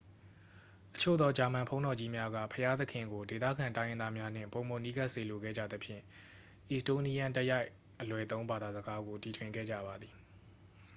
အချို့သော ဂျာမန်ဘုန်းတော်ကြီးများက ဘုရားသခင်ကို ဒေသခံတိုင်းရင်းသားများနှင့် ပိုမိုနီးကပ်စေလိုခဲ့ကြသဖြင့် အီစတိုးနီးယန်း တိုက်ရိုက် အလွယ်သုံး ဘာသာစကားကို တီထွင်ခဲ့ကြပါသည်